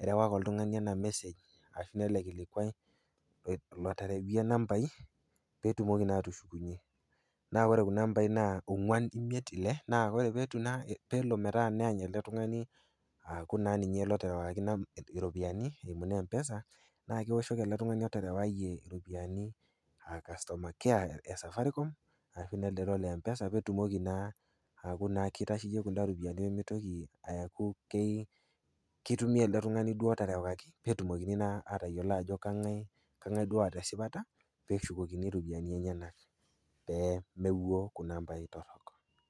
erewaki oltung'ani ena mesej ashu naa ele kilikwai, loterewaika inambaii pee etumoki naa atushukunye. Naa ore kuna ambai naa ong'wan imiet ile, naa ore peelo naa metaa neany ele tungani aaku ninye naa loterewakaki iropiani, eimu naa empesa, na keoshoki ele tung'ani oterewaayie iropiani customer care e safaricom ashu nelo empesa pee etumoki naa aaku keitasheiye kunda ropiani peyie meitoki aaku keitumiaya elde tung'ani duo oterewakaki pee etumokini naa atayiolo ajo kang'ai duo oata esipata pee eshukokini iropiani enyena pee mewuo kuna aambai torok.